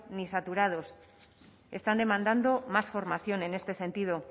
ni saturados están demandando más formación en este sentido